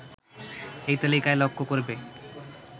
এই তালিকায় লক্ষ করবে